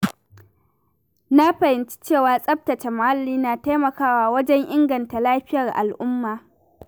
Na fahimci cewa tsaftace muhalli na taimakawa wajen inganta lafiyar al'umma.